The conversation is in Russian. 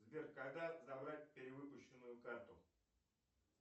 сбер когда забрать перевыпущенную карту